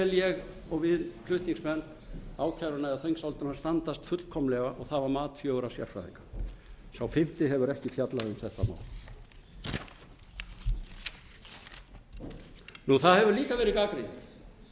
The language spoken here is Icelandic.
ég og við flutningsmenn ákæruna eða þingsályktunina standast fullkomlega og það var mat fjögurra sérfræðinga sá fimmti hefur ekki fjallað þetta mál það hefur líka verið gagnrýnt